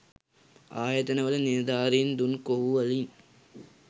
ආයතන වල නිළධාරින් දුන් කොහු වලින්